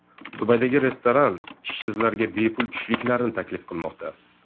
Dubaydagi restoran ishsizlarga bepul tushliklarni taklif qilmoqda.